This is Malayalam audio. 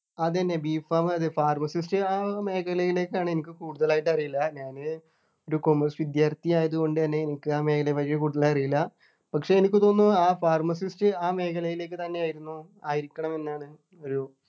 അതെന്ന B. pharm അത് Pharmacist ആ മേഖലയിലേക്കാണ് എനിക്ക് കൂടുതലായിട്ട് അറിയില്ല ഞാൻ ഒരു commerce വിദ്യാർത്ഥിയായതുകൊണ്ട് തന്നെ എനിക്ക് ആ മേഖലയെപ്പറ്റി കൂടുതൽ അറിയില്ല പക്ഷേ എനിക്ക് തോന്നുന്നു ആ Pharmacist ആ മേഖലയിലേക്ക് തന്നെയായിരുന്നു ആയിരിക്കണമെന്നാണ് ഒരു